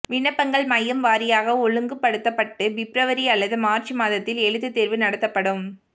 விண்ணப்பங்கள் மையம் வாரியாக ஒழுங்குபடுத்தப்பட்டு பிப்ரவரி அல்லது மார்ச் மாதத்தில் எழுத்துத் தேர்வு நடத்தப்படும்